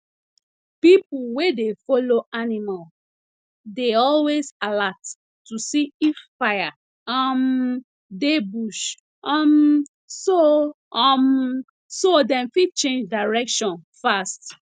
people wey dey follow animal dey always alert to see if fire um dey bush um so um so dem fit change direction fast